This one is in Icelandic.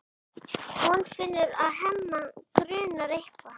Hún finnur að Hemma grunar eitthvað.